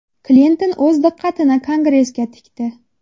Klinton o‘z diqqatini Kongressga tikdi.